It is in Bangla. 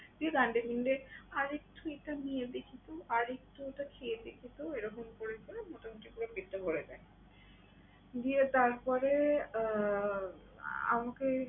ঠিক আরেকটু এটা নিয়ে দেখি তো, আরেকটু ওটা খেয়ে দেখি তো এরকম করে করে মোটামুটি পুরো plate টাই ভরে দেয়। দিয়ে তারপরে আহ আমাকে